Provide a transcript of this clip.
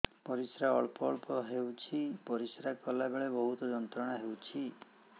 ପରିଶ୍ରା ଅଳ୍ପ ଅଳ୍ପ ହେଉଛି ପରିଶ୍ରା କଲା ବେଳେ ବହୁତ ଯନ୍ତ୍ରଣା ହେଉଛି